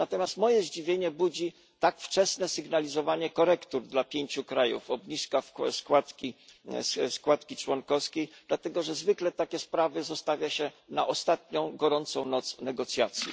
Natomiast moje zdziwienie budzi tak wczesne sygnalizowanie korekt dla pięciu krajów i obniżka składki członkowskiej, dlatego że zwykle takie sprawy zostawia się na ostatnią, gorącą noc negocjacji.